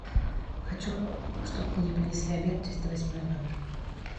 хочу чтоб мне принесли обед в триста восьмой номер